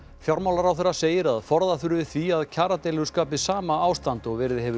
fjármálaráðherra segir að forða þurfi því að kjaradeilur skapi sama ástand og verið hefur í